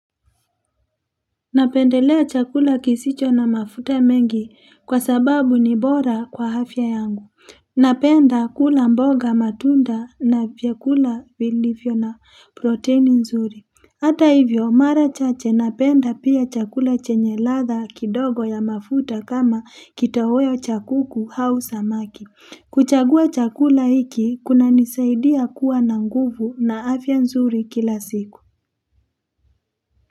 Napendelea chakula kisicho na mafuta mengi kwa sababu ni bora kwa afya yangu. Napenda kula mboga matunda na vyakula vilivyo na proteini nzuri. Hata hivyo mara chache napenda pia chakula chenye ladha kidogo ya mafuta kama kitoweo cha kuku au samaki. Kuchagua chakula hiki kunanisaidia kuwa na nguvu na afya nzuri kila siku.